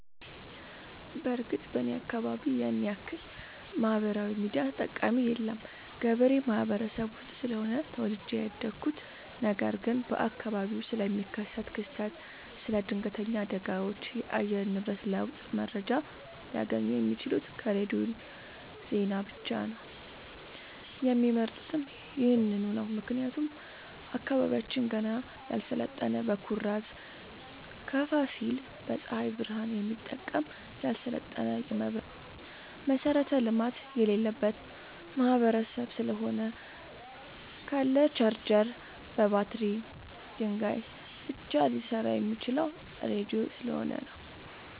በርግጥ እኔ አካባቢ ያንያክል ማህበራዊ ሚዲያ ተጠቀሚ የለም ገበሬ ማህበረሰብ ውስጥ ስለሆነ ተወልጄ ያደኩት ነገር ግን በአካባቢው ስለሚከሰት ክስተት ስለ ድነገተኛ አደጋዎች የአየር ንብረት ለውጥ መረጃ ሊያገኙ የሚችሉት ከሬዲዮ ዜና ብቻ ነው የሚመርጡትም ይህንኑ ነው ምክንያቱም አካባቢያችን ገና ያልሰለጠነ በኩራዝ ከፋሲል በፀሀይ ብረሃን የሚጠቀም ያልሰለጠነ የመብራት መሠረተ ልማት የሌለበት ማህበረሰብ ስለሆነ ካለ ቻርጀር በባትሪ ድንጋይ ብቻ ሊሰራ የሚችለው ራዲዮ ስለሆነ ነው።